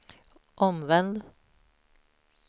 omvänd